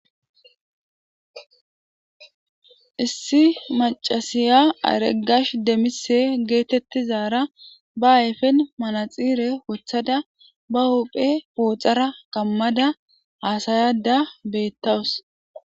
issi macasiya areggash demise geetettizaara ba ayfen manaxire wothada ba hophe pooxara kammada haasayada beettawus